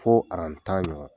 Fo aran tan ɲɔgɔn.